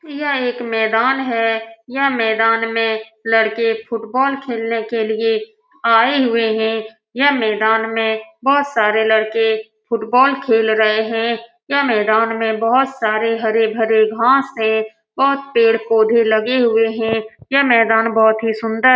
यह एक मैदान है। यह मैदान में लड़के फुटबॉल खेलने के लिए आए हुए है। यह मैदान में बोहोत सारे लड़के फुटबॉल खेल रहे है। यह मैदान में बोहोत सारे हरे-भरे घास है बोहोत पेड़-पौधे लगे हुए है। यह मैदान बोहोत ही सुंदर --